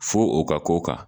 Fo o ka k'o kan